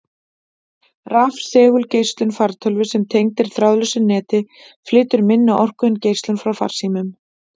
Rafsegulgeislun fartölvu sem tengd er þráðlausu neti, flytur minni orku en geislun frá farsímum.